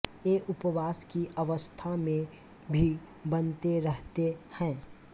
ये उपवास की अवस्था में भी बनते रहते हैं